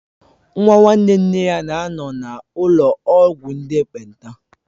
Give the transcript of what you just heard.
Nwa nwanne nne ya na-anọ na ụlọ ọgwụ ndị ekpenta